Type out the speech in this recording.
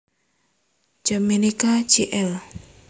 Yapenka Jl